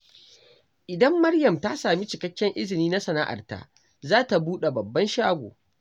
Idan Maryam ta sami cikakken izini na sana’arta, za ta buɗe babban shago.